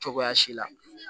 Cogoya si la